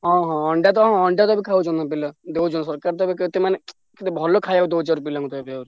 ହଁ ହଁ ଅଣ୍ଡା ତ ଅଣ୍ଡା ତ ଏଠି ଖାଉଛନ୍ତି ପିଲା ଦଉଛନ୍ତି ସରକାର ତ ଏତେ ଭଲ ଖାଇବାକୁ ଦଉଛନ୍ତି ପିଲାଙ୍କୁ।